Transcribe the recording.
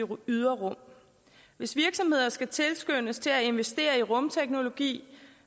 ydre rum hvis virksomheder skal tilskyndes til at investere i rumteknologi